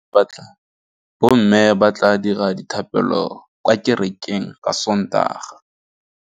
Bommê ba tla dira dithapêlô kwa kerekeng ka Sontaga.